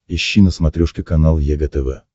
ищи на смотрешке канал егэ тв